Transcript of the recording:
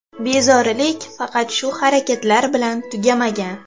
Bezorilik faqat shu harakatlar bilan tugamagan.